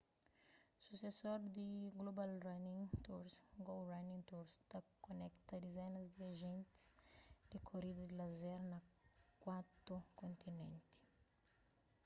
susesor di global running tours go running tours ta konekta dizenas di ajentis di korida di lazer na kuatu kontinenti